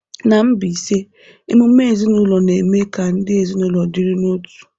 N'Mbaise ememe ezinaụlọ na-eme ka ndị ezinaụlọ dịrị n'otu.